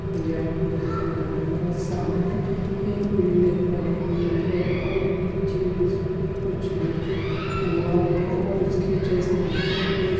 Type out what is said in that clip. यँहा हम देख रहे है सामने एक बिल्डिंग बनी हुई है और नीचे उसके कुछ लिख हुआ है और उसके जस्ट नीचे दो--